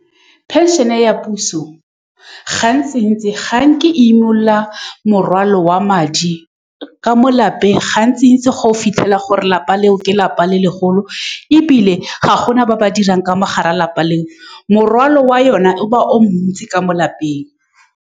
Pension-e ya puso gantsi-ntsi ga nke e imolola morwalo wa madi ka mo lapeng. Gantsi-ntsi ga o fitlhela gore lelapa leo ke lelapa le legolo, ebile ga gona ba ba dirang ka mogare ga lelapa leo. Morwalo wa yone o ba o montsi ka mo lelapeng.